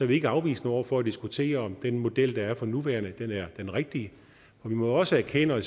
vi ikke afvisende over for at diskutere om den model der er for nuværende er den rigtige vi må jo også erkende